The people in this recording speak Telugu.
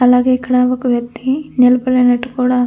అలాగే ఇక్కడ ఒక వ్యక్తి నిలబడినట్టు కూడా--